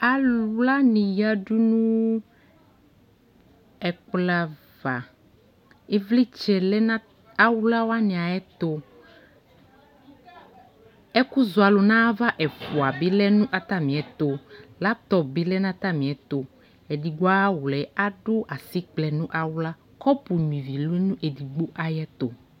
Awla wanι yadunʋ ɛkplɔ ava Ivlιtsɛ lɛ nʋ awla wanι ayʋ ɛtʋƐkʋzɔalʋ ɛfʋa bι lɛ nʋ atami ɛtʋ Laptɔp bι lɛ nʋ atamι ɛtʋ Edigbo ayʋ awla yɛ, adʋ asιkplɛ nʋ awla Kɔpʋ nyuia ivi lɛ nʋ edigbo ayʋ ɛtʋ